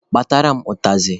Kpatara m ụtazị!